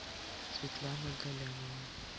светлана галямова